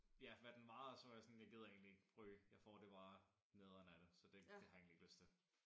Ja hvad den var og så var jeg sådan jeg gider egentlig ikke ryge jeg får det bare nederen af det så det har jeg egentlig ikke lyst til